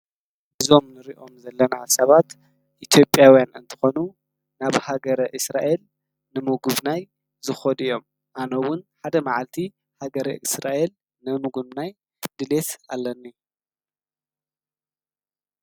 እዞም ንሪኦም ዘለና ሰባት ኢትዮጵያዉያን እንትኾኑ ናብ ሃገረ እስራኤል ንምጉብናይ ዝከዱ እዮም። አነ ውን ሓደ መዓልቲ ሃገረ እስራኤል ንምጉብናይ ድሌት አለኒ ።